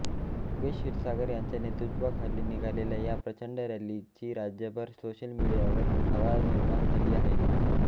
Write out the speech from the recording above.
योगेश क्षीरसागर यांच्या नेत्रत्वाखाली निघालेल्या या प्रचंड रॅलीची राज्यभर सोशल मीडियावर हवा निर्माण झाली आहे